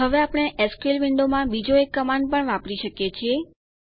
હવે આપણે એસક્યુએલ વિન્ડોમાં બીજો એક કમાંડને પણ વાપરી શકીએ છીએ